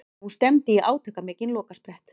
Nú stefndi í átakamikinn lokasprett.